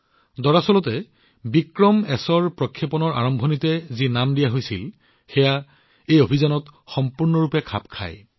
নিশ্চিতভাৱে বিক্ৰমএছৰ উৎক্ষেপণ অভিযানক দিয়া প্ৰাৰম্ভ নামটো ইয়াৰ সৈতে সম্পূৰ্ণৰূপে খাপ খায়